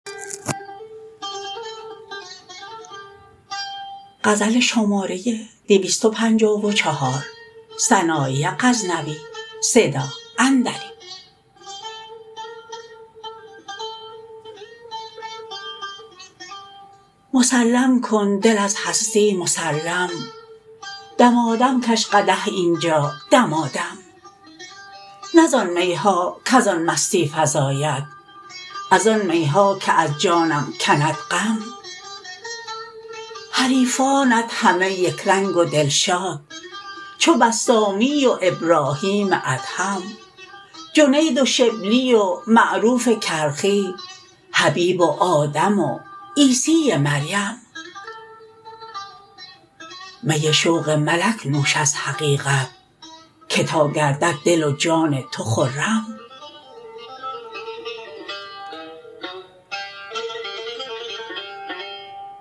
مسلم کن دل از هستی مسلم دمادم کش قدح اینجا دمادم نه زان می ها کز آن مستی فزاید از آن می ها که از جانم کم کند غم حریفانت همه یکرنگ و دلشاد چو بسطامی و ابراهیم ادهم جنید و شبلی و معروف کرخی حبیب و آدم و عیسی مریم می شوق ملک نوش از حقیقت که تا گردد دل و جان تو خرم